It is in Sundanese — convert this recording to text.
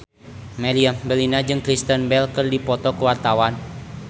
Meriam Bellina jeung Kristen Bell keur dipoto ku wartawan